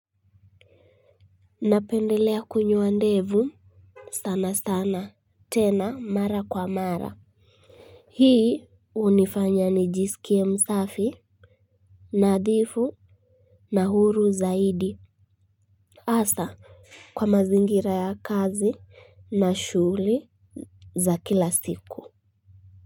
Napendelea kunyoa ndevu sana sana. Tena mara kwa mara hii hunifanya nijisikie msafi nadhifu na huru zaidi hasa kwa mazingira ya kazi na shuli za kila siku.